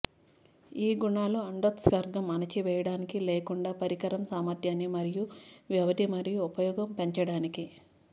ఈ గుణాలు అండోత్సర్గం అణచివేయడానికి లేకుండా పరికరం సామర్థ్యాన్ని మరియు వ్యవధి మురి ఉపయోగం పెంచడానికి